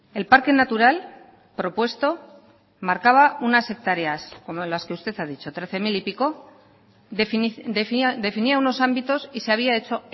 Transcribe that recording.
el parque natural propuesto marcaba unas hectáreas como las que usted ha dicho trece mil y pico definía unos ámbitos y se había hecho